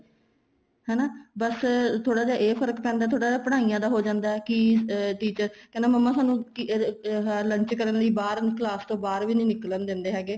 ਹੈਨਾ ਬੱਸ ਥੋੜਾ ਜਾ ਇਹ ਫ਼ਰਕ ਪੈਂਦਾ ਥੋੜਾ ਜਾ ਪੜ੍ਹਾਈਆਂ ਦਾ ਹੋ ਜਾਂਦਾ ਕੀ teachers ਕਹਿੰਦਾ ਮੰਮਾ ਸਾਨੂੰ lunch ਕਰਨ ਲਈ ਵੀ ਬਾਹਰ class ਤੋਂ ਬਾਹਰ ਵੀ ਨਹੀਂ ਨਿੱਕਲਣ ਦਿੰਦੇ ਹੈਗੇ